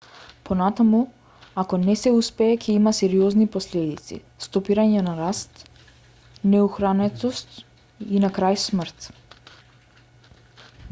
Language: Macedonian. понатаму ако не се успее ќе има сериозни последици стопирање на раст неухранетост и на крај смрт